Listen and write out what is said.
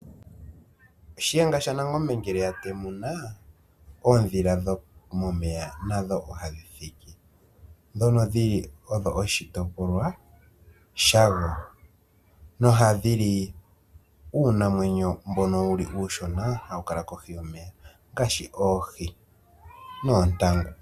Shiyenga shaNangombe ngele a temuna oondhila dhomomeya nadho ohadhi thiki, ndhono dhili oshitopolwa shadho nohadhi li uunamwenyo uushona mbono hawu kala kohi yomeya ngaashi oohi noontangu.